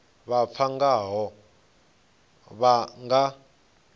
vha pfana ngaho vha nga